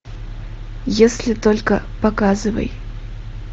если только показывай